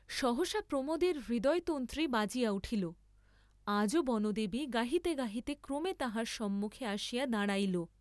সহসা প্রমোদের হৃদয়তন্ত্রী বাজিয়া উঠিল, আজও বনদেবী গাহিতে গাহিতে ক্রমে তাঁহার সম্মুখে আসিয়া দাঁড়াইল।